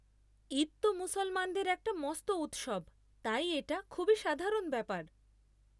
ঈদ তো মুসলমানদের একটা মস্ত উৎসব তাই এটা খুবই সাধারণ ব্যাপার।